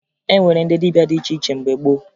E nwere ndị dibịa dị iche iche mgbe gboo